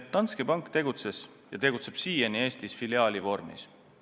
Danske Bank tegutses ja tegutseb siiani Eestis filiaali vormis.